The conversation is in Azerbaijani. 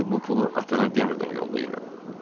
Çünki bu pulu atana demədən yollayıram.